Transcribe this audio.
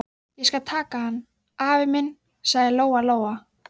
Ég skal taka hann, afi minn, sagði Lóa Lóa.